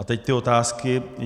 A teď ty otázky: